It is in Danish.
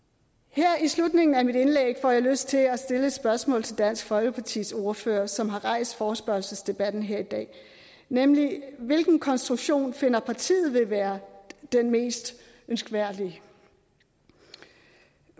her i slutningen af mit indlæg får jeg lyst til at stille et spørgsmål til dansk folkepartis ordfører som har rejst forespørgselsdebatten her i dag nemlig hvilken konstruktion finder partiet vil være den mest ønskværdige